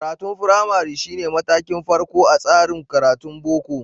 Karatun firamari shi ne matakin farko a tsarin karatun Boko.